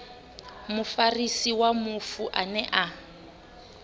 mufarisi wa mufu ane a